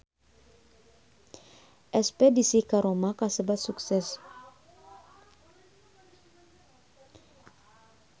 Espedisi ka Roma kasebat sukses